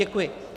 Děkuji.